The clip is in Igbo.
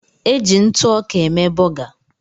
E ji ntụ ọka eme bọga